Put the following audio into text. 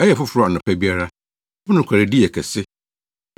Ɛyɛ foforo anɔpa biara; wo nokwaredi yɛ kɛse.